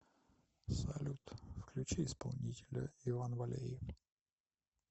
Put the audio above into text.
салют включи исполнителя иван валеев